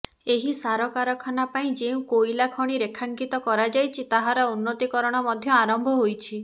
ଏହି ସାର କାରଖାନା ପାଇଁ ଯେଉଁ କୋଇଲା ଖଣି ରେଖାଙ୍କିତ କରାଯାଇଛି ତାହାର ଉନ୍ନତିକରଣ ମଧ୍ୟ ଆରମ୍ଭ ହୋଇଛି